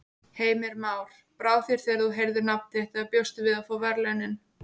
Heimir Már: Brá þér þegar þú heyrðir nafnið þitt eða bjóstu við að fá verðlaunin?